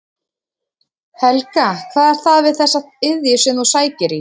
Helga: Hvað er það við þessa iðju sem að þú sækir í?